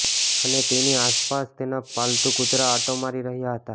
અને તેની આસપાસ તેના પાલતૂ કૂતરા આંટો મારી રહ્યા હતા